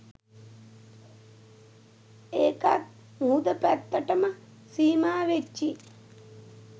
ඒකත් මුහුද පැත්තටම සීමා වෙච්චි